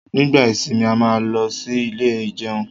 nígbà ìsimi a má ló sì Ilé ìjẹun